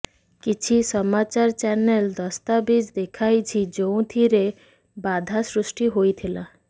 କିଛି ସମାଚାର ଚ୍ୟାନେଲ ଦସ୍ତାବିଜ୍ ଦେଖାଇଛି ଯେଉଁଥିରେ ବାଧା ସୃଷ୍ଟି ହୋଇଥିଲା